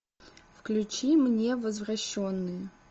включи мне возвращенные